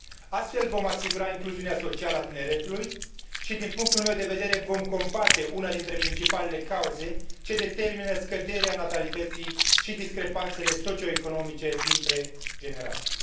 Astfel, vom asigura incluziunea socială a tineretului și, din punctul meu de vedere, vom combate una dintre principalele cauze ce determină scăderea natalității și discrepanțele socioeconomice dintre generații.